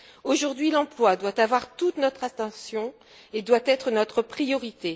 Aujourd'hui l'emploi doit avoir toute notre attention et doit être notre priorité.